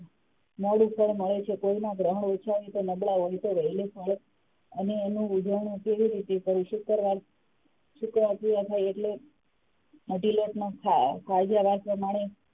નંગ ઉપર મળે છે કોઈના ગ્રહણ ઓછાં હોય નબડા હોય તો, અને એનું ઉજ્વણું કેવી રીતે કરીશું? શુક્રવાર પૂરા થાય એટલે અઢી લોટનો થાળ